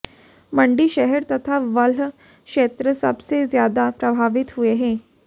मंडी शहर तथा बल्ह क्षेत्र सबसे ज्यादा प्रभावित हुए हैं